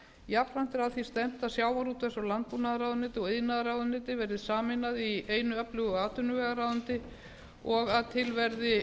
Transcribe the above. jafnframt er að því stefnt að sjávarútvegs og landbúnaðarráðuneyti og iðnaðarráðuneytið verði sameinað í einu öflugu atvinnuvegaráðuneyti og að til verði